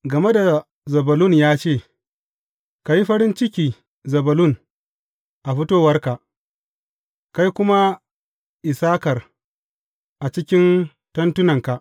Game da Zebulun ya ce, Ka yi farin ciki, Zebulun, a fitowarka, kai kuma Issakar, a cikin tentunanka.